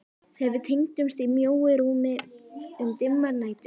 Þegar við tengdumst í mjóu rúmi um dimmar nætur.